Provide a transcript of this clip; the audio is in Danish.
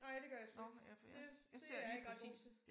Nej det gør jeg sgu ikke. Det det jeg ikke ret god til